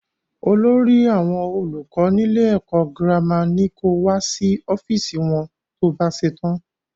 Olórí àwọn olùkọ́ nílé ẹkọ gírámà ní ko wá sí ọ́fíìsì wọn to bá ṣetán.